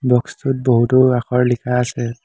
Box টোত বহুতো আখৰ লিখা আছে।